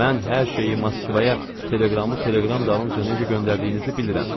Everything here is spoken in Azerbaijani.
Mən hər şeyi Moskvaya teleqramı teleqram dalınca necə göndərdiyinizi bilirəm.